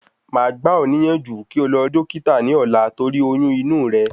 máà gbà o níyànjú kí o lọ rí Dókítà ní ọ̀la torí oyún inú re